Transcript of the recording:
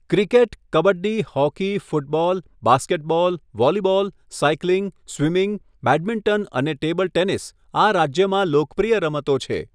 Cricket, kabaddi, hockey, football, basketball, volleyball, cycling, swimming, badminton અને table tennis આ રાજ્યમાં લોકપ્રિય રમતો છે.